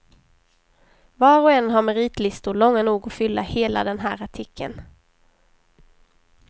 Var och en har meritlistor långa nog att fylla hela den här artikeln.